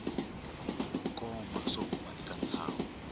koma swo huma eka ntsaho